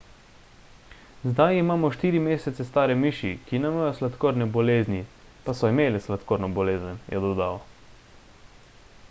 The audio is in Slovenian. zdaj imamo 4 mesece stare miši ki nimajo sladkorne bolezni pa so imele sladkorno bolezen je dodal